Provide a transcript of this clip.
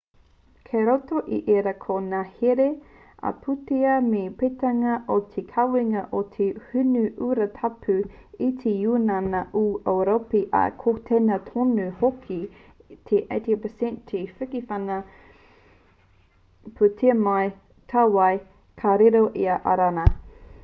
kei roto i ērā ko ngā here ā-pūtea me te peitanga o te kawenga o te hinu urutapu e te ūniana o ūropi ā ko tēnā tonu hoki te 80% o te whiwhinga pūtea mai i tāwāhi ka riro i a irāna